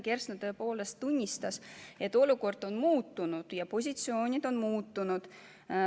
Ta tõepoolest tunnistas, et olukord on muutunud ja positsioonid on muutunud.